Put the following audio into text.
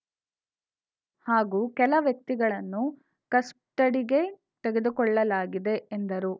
ಹಾಗೂ ಕೆಲ ವ್ಯಕ್ತಿಗಳನ್ನು ಕಸ್ಟಡಿಗೆ ತೆಗೆದುಕೊಳ್ಳಲಾಗಿದೆ ಎಂದರು